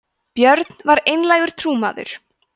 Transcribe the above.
björn var einlægur trúmaður